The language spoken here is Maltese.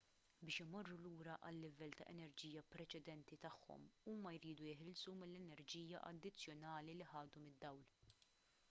biex imorru lura għal-livell ta' enerġija preċedenti tagħhom huma jridu jeħilsu mill-enerġija addizzjonali li ħadu mid-dawl